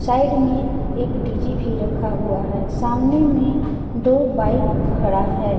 Side में एक DJ भी रखा हुआ है सामने में दो बाइक खड़ा है।